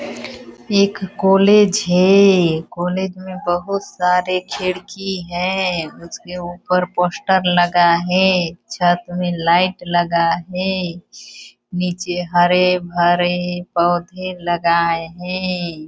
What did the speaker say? एक कॉलेज है कॉलेज में बहुत सारे खिड़की है उसके ऊपर पोस्टर लगा है छत में लाइट लगा है नीचे हरे-भरे पौधे लगाए है।